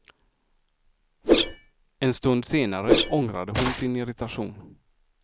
En stund senare ångrade hon sin irritation.